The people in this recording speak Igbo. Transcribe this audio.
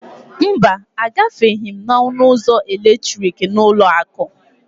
mba, Agafeghị m n'ọnụ ụzọ eletrikị n'ụlọ akụ